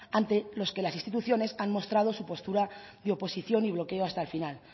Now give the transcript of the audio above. ante los que las instituciones han mostrado su postura de oposición y bloqueo hasta el final